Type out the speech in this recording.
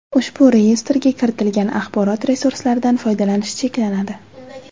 Ushbu Reyestrga kiritilgan axborot resurslaridan foydalanish cheklanadi.